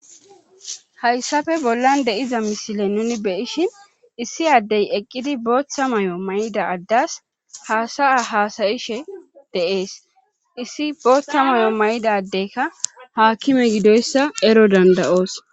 Hayssafe bollan deiza misile nuni beyishin issi addey eqqidi booththa may7o may7ida addas haasaya hasayishe deees issi booththa mayo may7idadeykka haakime gidoyssa ero dandayoos.